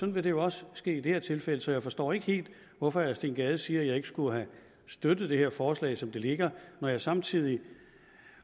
vil det også ske i det her tilfælde så jeg forstår ikke helt hvorfor herre steen gade siger at jeg ikke skulle have støttet det her forslag som det ligger når jeg samtidig